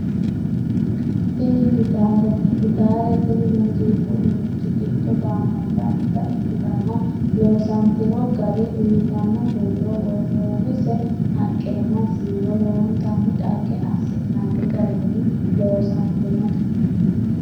Tini gitaarete gitaare tini muuziiqu uduunnichi giddo gaamantannota ikkitanna loosantino gari uuytanno huuro wortoonnise haqqenna siiwo lowontanni dhagge assi'nanni garinni loosantinote.